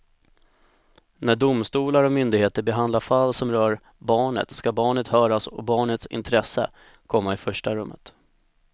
När domstolar och myndigheter behandlar fall som rör barnet ska barnet höras och barnets intresse komma i första rummet.